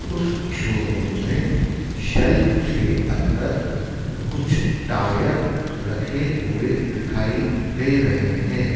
उस शोरूम में शेल्फ के अंदर कुछ टायर रखे हुए दिखाई दे रहे हैं।